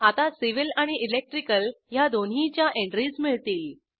आता सिव्हिल आणि इलेक्ट्रिकल ह्या दोन्हीच्या एंट्रीज मिळतील